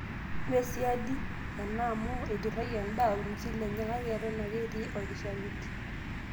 Mee siadi ena amu eiturrayie endaa olng'usil lenye kake eton ake etii olkishamiet.